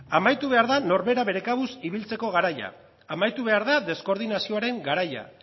amaitu behar da norbera bere kabuz ibiltzeko garaia amaitu behar da deskoordinazioaren garaia